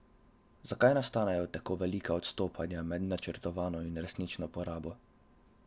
Zakaj nastanejo tako velika odstopanja med načrtovano in resnično porabo?